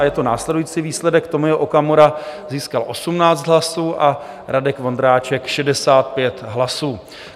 A je to následující výsledek: Tomio Okamura získal 18 hlasů a Radek Vondráček 65 hlasů.